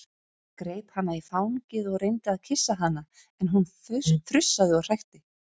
Greip hana í fangið og reyndi að kyssa hana en hún frussaði og hrækti.